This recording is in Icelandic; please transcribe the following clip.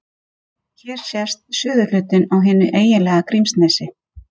Hér sést suðurhlutinn á hinu eiginlega Grímsnesi.